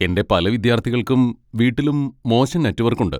എന്റെ പല വിദ്യാർത്ഥികൾക്കും വീട്ടിലും മോശം നെറ്റ്‌വർക്ക് ഉണ്ട്.